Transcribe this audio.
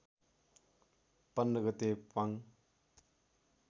१५ गते प्वाङ